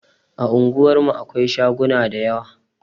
A unguwar mu akwai shaguna da yawa